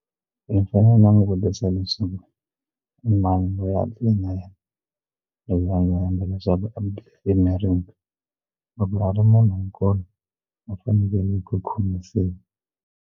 I fanele u langutisa leswaku i mani loyi a tlele na yena loyi a nga endla leswaku loko a ri munhu nkulu u faneleke ku khomisiwa.